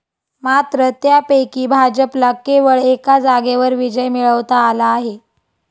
मात्र त्यापैकी भाजपला केवळ एका जागेवर विजय मिळवता आला आहे.